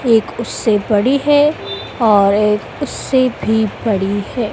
एक उससे बड़ी है और एक उससे भी बड़ी हैं।